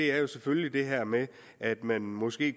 er jo selvfølgelig det her med at man måske